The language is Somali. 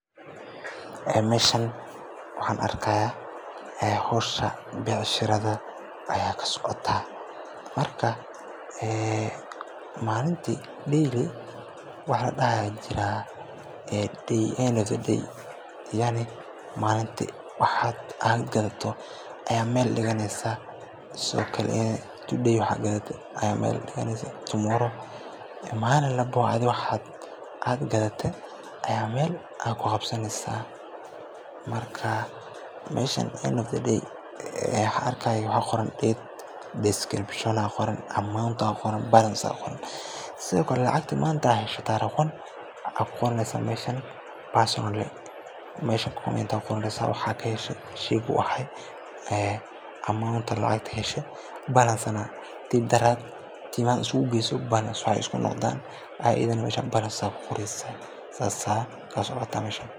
Meeshan waxaan arkayaa ee hawsha bicsashada ayaa ka socotaa, ee maalinkiiba wax la dhaho daily ayaa jirta ama la qabto xisaabaad. Waxaa muuqata in goobtani tahay meel ganacsi oo si joogto ah loogu qabto xisaabaadka maalinlaha ah, laguna socodsiiyo hawlaha bicsashada ama gadista. Dadka meesha jooga waxay u muuqdaan kuwo ku mashquulsan diiwaangelinta iyo la socodka badeecadaha la iibinayo iyo lacagaha la helayo. Waxaana si nidaamsan loo hayaa buugaag ama kombiyuutarro lagu kaydiyo xogta, taas oo muujinaysa in shaqada si hufan loo wado.